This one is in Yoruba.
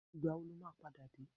Ìgbàwo ló máa padà dé?